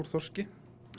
þorski